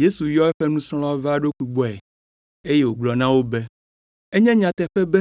Yesu yɔ eƒe nusrɔ̃lawo va eɖokui gbɔe, eye wògblɔ na wo be, “Enye nyateƒe be